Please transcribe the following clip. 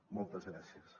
moltes gràcies